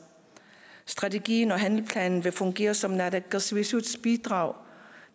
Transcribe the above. strategien og handleplanen vil fungere som naalakkersuisuts bidrag